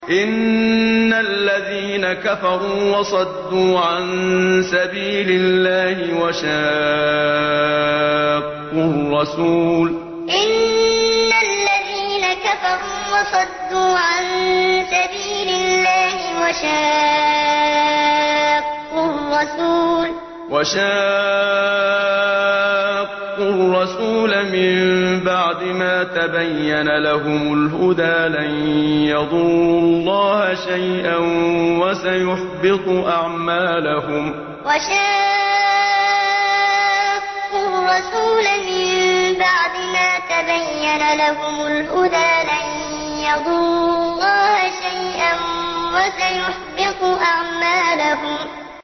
إِنَّ الَّذِينَ كَفَرُوا وَصَدُّوا عَن سَبِيلِ اللَّهِ وَشَاقُّوا الرَّسُولَ مِن بَعْدِ مَا تَبَيَّنَ لَهُمُ الْهُدَىٰ لَن يَضُرُّوا اللَّهَ شَيْئًا وَسَيُحْبِطُ أَعْمَالَهُمْ إِنَّ الَّذِينَ كَفَرُوا وَصَدُّوا عَن سَبِيلِ اللَّهِ وَشَاقُّوا الرَّسُولَ مِن بَعْدِ مَا تَبَيَّنَ لَهُمُ الْهُدَىٰ لَن يَضُرُّوا اللَّهَ شَيْئًا وَسَيُحْبِطُ أَعْمَالَهُمْ